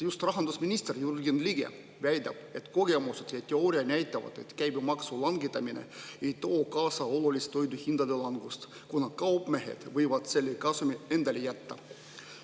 Just rahandusminister Jürgen Ligi väidab, et kogemused ja teooria näitavad, et käibemaksu langetamine ei too kaasa olulist toiduhindade langust, kuna kaupmehed võivad selle kasumi endale jätta.